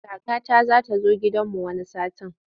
Kakata za ta zo gidanmu wani satin.